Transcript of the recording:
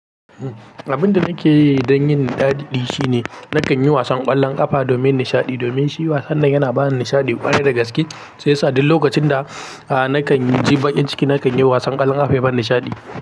Abinda nake yi dan yin nishadi shine nakan yi wasan kwallon kafa domin nishaɗi. Domin shi wasan nan yana bani nishaɗi ƙwarai da gaske shi yasa duk lokacin da nakan ji bakin ciki nakan yi wasan kwallon kafa ya bani nishaɗi.